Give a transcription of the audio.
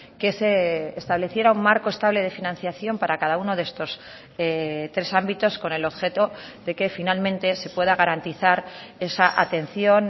que se estableciera un marco estable de financiación para cada uno de estos tres ámbitos con el objeto de que finalmente se pueda garantizar esa atención